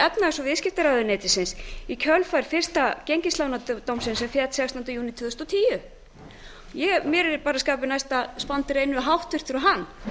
efnahags og viðskiptaráðuneytisins í kjölfar fyrsta gengislánadómsins sem féll sextánda júní tvö þúsund og tíu mér er bara skapi næst að standa og hann